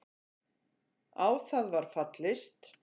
Á það var fallist.